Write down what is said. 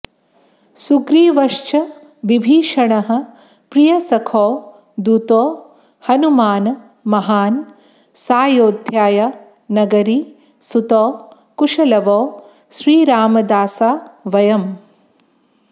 सुग्रीवश्च विभीषणः प्रियसखौ दूतो हनूमान् महान् सायोध्या नगरी सुतौ कुशलवौ श्रीरामदासा वयम्